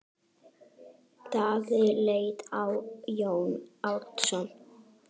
Daði leit á Jón Arason.